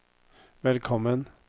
velkommen